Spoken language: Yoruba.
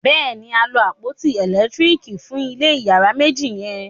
béèni a lo àpótí elekitiriki fun ilé iyàrá méjì yen.